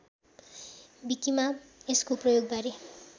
विकिमा यसको प्रयोगबारे